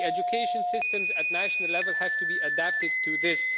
The education systems at national level have to be adapted to this.